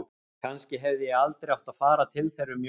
Kannski hefði ég aldrei átt að fara til þeirra um jólin.